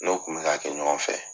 N'o kun bika kɛ ɲɔgɔn fɛ.